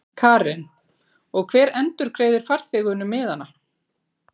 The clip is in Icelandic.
Karen: Og hver endurgreiðir farþegunum miðana?